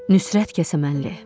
Nüsrət Kəsəmənli.